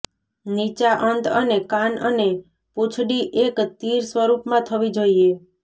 નીચા અંત અને કાન અને પૂંછડી એક તીર સ્વરૂપમાં થવી જોઈએ